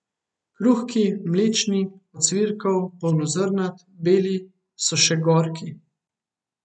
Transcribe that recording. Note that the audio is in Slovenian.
Kruhki, mlečni, ocvirkov, polnozrnat, beli, so še gorki.